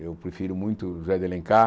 Eu prefiro muito José de Alencar.